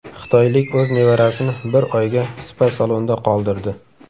Xitoylik o‘z nevarasini bir oyga spa-salonda qoldirdi.